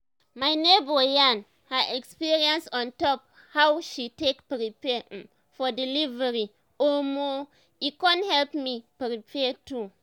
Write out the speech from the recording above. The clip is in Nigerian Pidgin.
my neighbor yarn her experience on top how she take prepare um for delivery and omo um e con help me prepare too